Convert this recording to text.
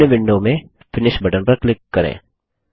निम्न विंडो में finish button पर क्लिक करें